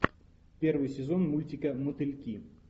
первый сезон мультика мотыльки